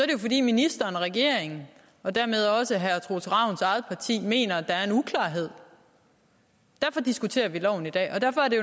jo fordi ministeren og regeringen og dermed også herre troels ravns eget parti mener at der er en uklarhed derfor diskuterer vi loven i dag derfor er det